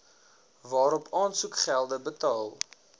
waarop aansoekgelde betaal